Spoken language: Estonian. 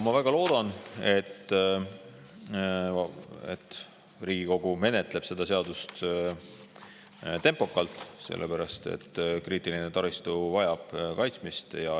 Ma väga loodan, et Riigikogu menetleb seda eelnõu tempokalt, sellepärast et kriitiline taristu vajab kaitsmist.